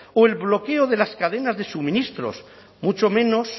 o el bloqueo de las cadenas de suministros mucho menos